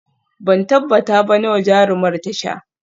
Ban tabbata ba nawa jarumar ta sha